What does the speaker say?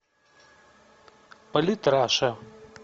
политраша